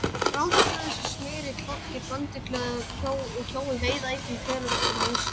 Ránfuglar eins og smyrill, fálki, brandugla og kjói veiða einnig töluvert af músum.